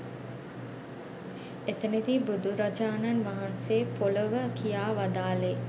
එතැනදී බුදුරජාණන් වහන්සේ පොළොව කියා වදාළේ